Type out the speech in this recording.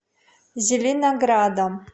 зеленоградом